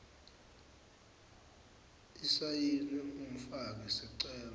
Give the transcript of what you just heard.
isayini umfaki sicelo